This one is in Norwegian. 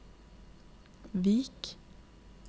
Vik